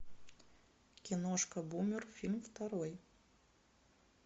киношка бумер фильм второй